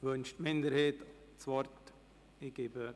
Wünscht die Minderheit das Wort?